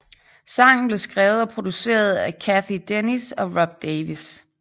Sangen blev skrevet og produceret af Cathy Dennis og Rob Davis